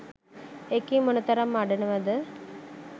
ඒකි මොනතරම් අඬනවද?